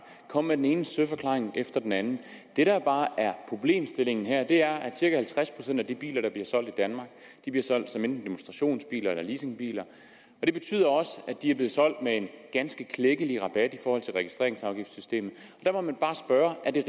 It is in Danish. komme med den ene søforklaring efter den anden det der bare er problemstillingen her er at cirka halvtreds procent af de biler der bliver solgt i danmark bliver solgt som enten demonstrationsbiler eller leasingbiler det betyder også at de er blevet solgt med en ganske klækkelig rabat i forhold til registreringsafgiftssystemet der må man bare spørge er det